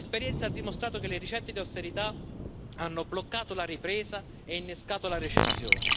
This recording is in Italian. L'esperienza ha dimostrato che le ricette d'austerità hanno bloccato la ripresa e innescato la recessione.